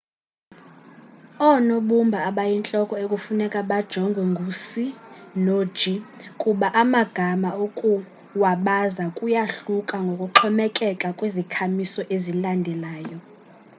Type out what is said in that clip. oonobumba abayintloko ekufuneka bajongwe ngu-c no-g kuba amagama ukuwabaza kuyahluka ngokuxhomekeka kwizikhamiso ezilandelayo